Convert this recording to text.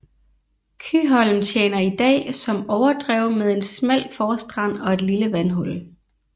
Kyholm tjener i dag som overdrev med en smal forstrand og et lille vandhul